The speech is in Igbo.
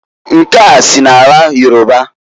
Nke a si n'ala Yoruba.